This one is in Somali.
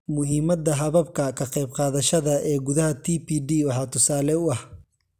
Muhiimadda hababka ka qaybqaadashada ee gudaha TPD waxaa tusaale u ah